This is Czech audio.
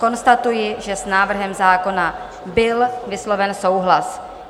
Konstatuji, že s návrhem zákona byl vysloven souhlas.